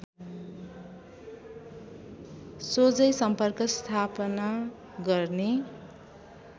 सोझै सम्पर्क स्थापना गर्ने